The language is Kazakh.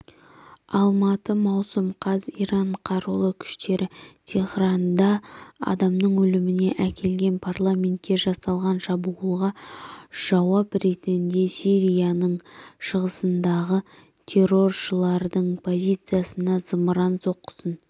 алматы маусым қаз иран қарулы күштері теһранда адамның өліміне әкелген парламентке жасалған шабуылға жауап ретінде сирияның шығысындағы терроршылардың позициясына зымыран соққысын